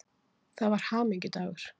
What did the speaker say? Það var hamingjudagur.